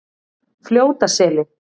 Fljótaseli